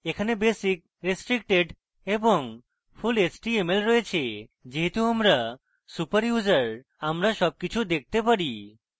এখানে basic restricted এবং full html রয়েছে যেহেতু আমরা super user আমরা সব কিছু দেখতে পারি